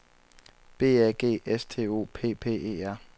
B A G S T O P P E R